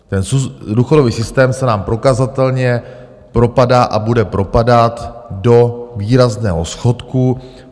Ten důchodový systém se nám prokazatelně propadá a bude propadat do výrazného schodku.